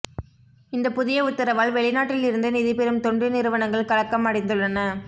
இந்த புதிய உத்தரவால் வெளிநாட்டில் இருந்து நிதிபெறும் தொண்டு நிறுவனங்கள் கலக்கம் அடைந்துள்ளன